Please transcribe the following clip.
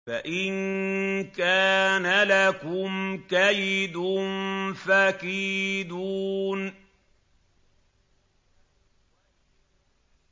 فَإِن كَانَ لَكُمْ كَيْدٌ فَكِيدُونِ